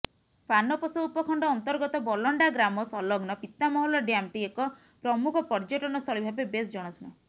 ପାନପୋଷ ଉପଖଣ୍ଡ ଅନ୍ତର୍ଗତ ବଲଣ୍ଡା ଗ୍ରାମ ସଂଲଗ୍ନ ପିତାମହଲ ଡ୍ୟାମଟି ଏକ ପ୍ରମୁଖ ପର୍ଯ୍ୟଟନସ୍ଥଳୀ ଭାବେ ବେଶ୍ ଜଣାଶୁଣା